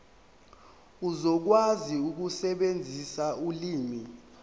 uzokwazi ukusebenzisa ulimi